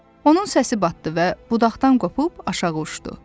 Onun səsi batdı və budaqdan qopub aşağı uçdu.